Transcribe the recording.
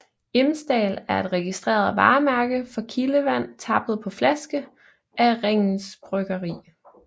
Imsdal er et registreret varemærke for kildevand tappet på flaske af Ringnes Bryggeri